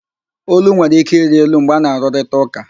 Ólú nwere ike ịrị elu mgbe ana-arụrịta ụka